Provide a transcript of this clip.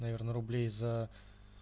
наверное рублей за